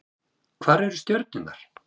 Hvar eru stjörnurnar?